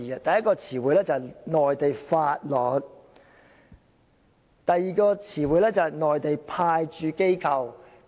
第一個是"內地法律"，第二個是"內地派駐機構"。